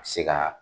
A bɛ se ka